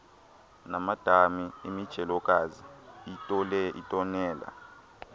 namadami imijelokazi iitonela